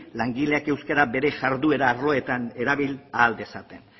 langileak euskara bere jarduera arloetan erabil ahal dezaten